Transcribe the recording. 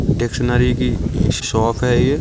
Dictionary की shop है ये।